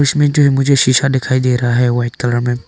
इसमें जो है मुझे सीसा दिखाई दे रहा है वाइट कलर में।